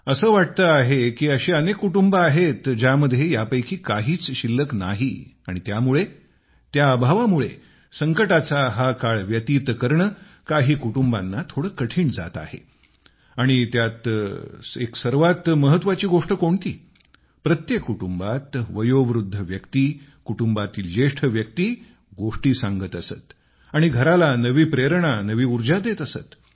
असे वाटते आहे की अशी अनेक कुटुंबे आहेत ज्यांमध्ये यापैकी काहीच शिल्लक नाही आणि त्यामुळे त्या अभावामुळे संकटाचा हा काळ व्यतीत करणे काही कुटुंबांना थोडे कठीण जाते आहे आणि त्यात एक सर्वात महत्त्वाची गोष्ट कोणती प्रत्येक कुटुंबात वयोवृद्ध व्यक्ती कुटुंबातील ज्येष्ठ व्यक्ती गोष्टी सांगत असत आणि घराला नवी प्रेरणा नवी ऊर्जा देत असत